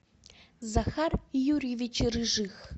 захар юрьевич рыжих